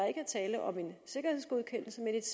ikke er tale om en sikkerhedsgodkendelse men et